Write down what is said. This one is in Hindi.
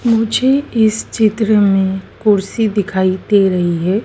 मुझे इस चित्र में कुर्सी दिखाई दे रही हैं।